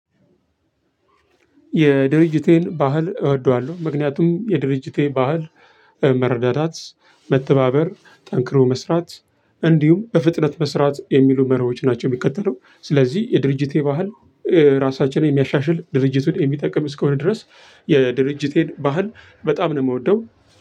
የድርጅቴን ባህል እወደዋለሁ ምክንያቱም የድርጅቴ ባህል መረዳዳት መተባበር ጠንክሮ መስራት እንዲሁም በፍጥነት መስራት የሚሉ መርሆች ናቸው። የሚከተለው ስለዚህ የድርጅቴ ባህል። ራሳችንን የሚያሻሽል ድርጅቱን የሚጠቅም እስከሆነ ድረስ የድርጅቴን ባህል በጣም ነው ምወደው።